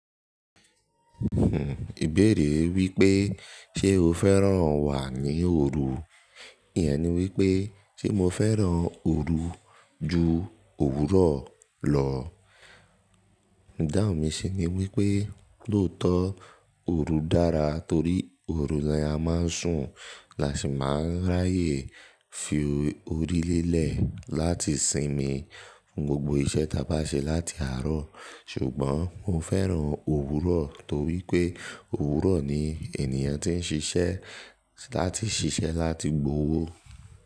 Hmm ìbéèrè wípé ṣe o fẹ́ràn wà ní òru? Íyen ni wípé ṣe mo fẹ́ràn òru ju òwúrọ̀ lọ. Idáhùn mi sì ni wípé lóòótọ́ òru dára torí òru la máa ń sùn la sì máa ń ráyè fi orí lélẹ̀ láti sinmi fún gbogbo iṣẹ́ ta bá ṣe láti àárọ̀. Ṣùgbọ́n mo fẹ́ràn òwúrọ̀ torí pé òwúrọ̀ ni ènìyàn tí ń ṣiṣẹ́ láti ṣiṣẹ́ láti gbowó.